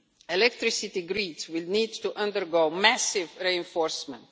Electricity grids will need to undergo massive reinforcement.